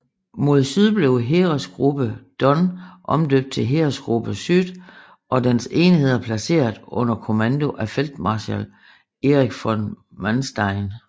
Mod syd blev Heeresgruppe Don omdøbt til Heeresgruppe Süd og dens enheder placeret under kommando af feltmarskal Erich von Manstein